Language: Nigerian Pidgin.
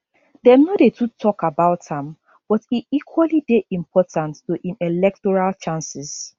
dem no dey too tok about am but e equally dey important to im electoral chances